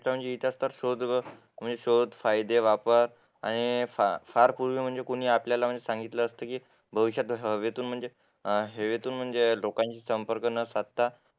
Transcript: खरं म्हणजे शोध व फायदे वापर आणि फार पूर्वी म्हणजे जे कोणी आपल्याला सांगितलेलं असतं की भविष्यात जसा हवेतून हवेतून म्हणजे लोकांशी संपर्क न साधता